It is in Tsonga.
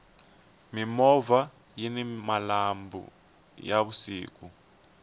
mimovha yini malambhu ya vusiku